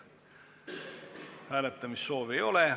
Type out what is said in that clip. Hääletamissoovi ei ole.